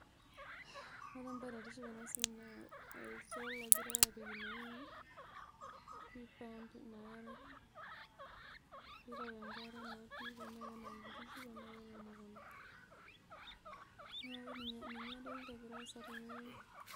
Ore embae naitisip enasiai naa solar egirai apik inasiai piipump inaare nitau enkare naduo tanaa kenaok nkishu ashu nairemishoreki emukunda, neaku ninye entoki nagira aasa tene.